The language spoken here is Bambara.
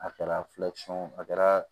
A kɛra a kɛra